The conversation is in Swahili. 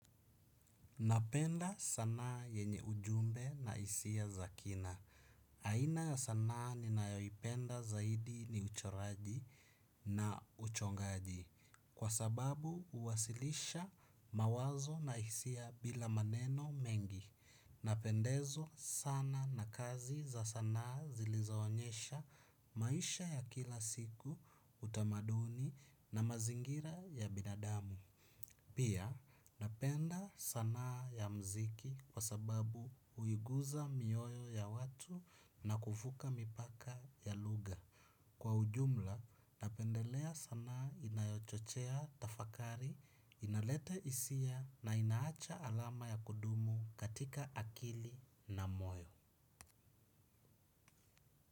Napenda sanaa yenye ujumbe na hisia za kina. Aina ya sanaa ni naipenda zaidi ni uchoraji na uchongaji. Kwa sababu huwasilisha mawazo na hisia bila maneno mengi. Napendezwa sana na kazi za sanaa zilizaonyesha maisha ya kila siku utamaduni na mazingira ya binadamu. Pia napenda sanaa ya mziki kwa sababu huiguza mioyo ya watu na kuvuka mipaka ya lugha. Kwa ujumla napendelea sanaa inayochochea tafakari, inalete hisia na inaacha alama ya kudumu katika akili na moyo.